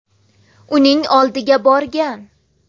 uning oldiga borgan.